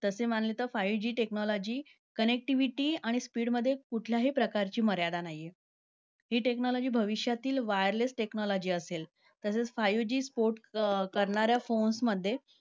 तसे मानले तर five G technology connectivity आणि speed मध्ये कुठल्याही प्रकारची मर्यादा नाहीये. हि technology भविष्यातील wireless technology असेल. तसेच five G five G port करणाऱ्या phones मध्ये